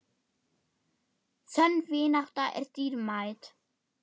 Sönn vinátta er dýrmæt.